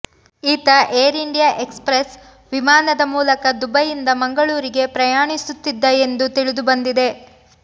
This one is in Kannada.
ಈತ ಏರ್ ಇಂಡಿಯಾ ಏಕ್ಸ್ಪ್ರೆಸ್ ವಿಮಾನದ ಮೂಲಕ ದುಬೈಯಿಂದ ಮಂಗಳೂರಿಗೆ ಪ್ರಯಾಣಿಸುತ್ತಿದ್ದ ಎಂದು ತಿಳಿದುಬಂದಿದೆ